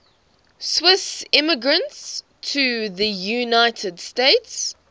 swiss immigrants to the united states